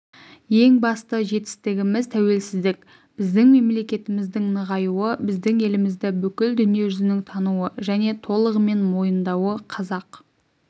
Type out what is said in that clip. ең басты жетістігіміз тәуелсіздік біздің мемлектіміздің нығаюы біздің елімізді бүкіл дүниежүзінің тануы және толығымен мойындауы қазақ